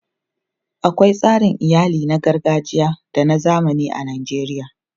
Akwai tsarin iyali na gargajiya da na zamani a Najeriya.